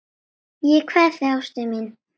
Ég kveð þig, ástin mín.